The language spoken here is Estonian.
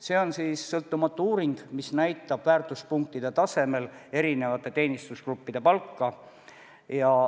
See on sõltumatu uuring, mis näitab väärtuspunktide tasemel erinevate teenistusgruppide palka.